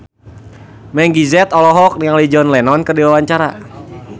Meggie Z olohok ningali John Lennon keur diwawancara